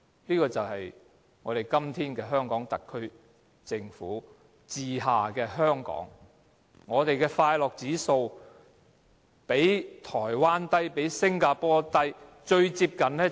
這就是我們今天在特區政府治下的香港，我們的快樂指數較台灣低，較新加坡低，最接近的便是內地。